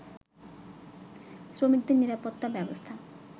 শ্রমিকদের নিরাপত্তা ব্যবস্থা